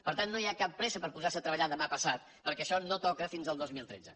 per tant no hi ha cap pressa per posar se a treballar demà passat perquè això no toca fins al dos mil tretze